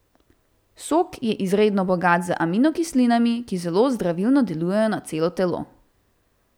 Sok je izredno bogat z aminokislinami, ki zelo zdravilno delujejo na celo telo.